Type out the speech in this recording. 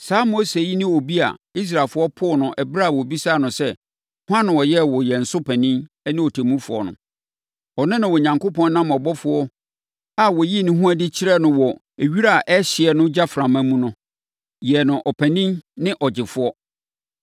“Saa Mose yi ne obi a Israelfoɔ poo no ɛberɛ a wɔbisaa no sɛ, ‘Hwan na ɔyɛɛ wo yɛn so panin ne ɔtemmufoɔ no?’ Ɔno na Onyankopɔn nam ɔbɔfoɔ a ɔyii ne ho adi kyerɛɛ no wɔ wira a ɛrehyeɛ no gyaframa mu no, yɛɛ no ɔpanin ne ɔgyefoɔ.